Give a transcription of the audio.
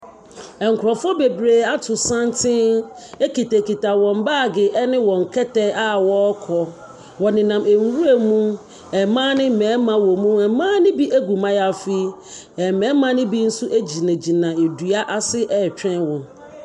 Nkurɔfoɔ bebree ato santene kitakita wɔn baage ne wɔn kɛtɛ a wɔrekɔ. Wɔnenam nwuram. Mmaa ne mmarima wom. Mmaa no bi gu mmayaafi, na mmarima no bi nso gyinagyina nnua ase retwɛn wɔn.